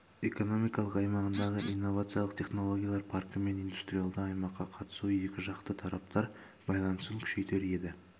экономикалық аймағындағы инновациялық технологиялар паркі мен индустриалды аймаққа қатысу екі жақты тараптар байланысын күшейтер еді